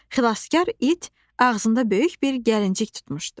Xilaskar it ağzında böyük bir gəlinciq tutmuşdu.